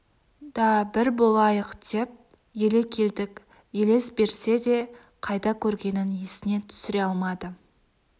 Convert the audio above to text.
да бір болайық деп еле келдік елес берсе де қайда көргенін есіне түсіре алмады